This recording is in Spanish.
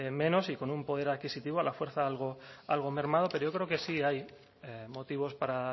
menos y con un poder adquisitivo a la fuerza algo mermado pero yo creo que sí hay motivos para